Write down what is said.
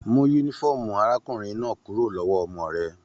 Mú yúnífọ̀ọ́mù arákùnrin náà kúrò lọwọ ọmọ rẹ!